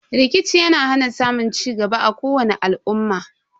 Rikici yana hana samun cigaba a kowani al'umma.